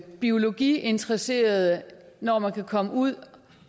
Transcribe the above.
biologiinteresserede når man kan komme ud